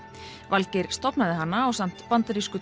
Valgeir stofnaði hana ásamt bandarísku